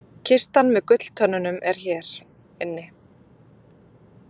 Kistan með gulltönnunum er hér inni